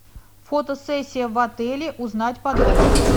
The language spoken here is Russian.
фотосессия в отеле узнать подробности